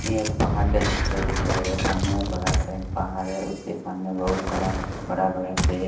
ये पहाड़ का चित्र देखो मेरे सामने बड़ा सा पहाड़ हैउसके सामने बहुत बड़ा बड़ा बड़ा पेड़।